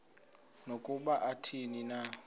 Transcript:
nokuba athini na